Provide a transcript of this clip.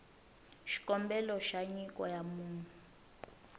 xikombelo xa nyiko ya munhu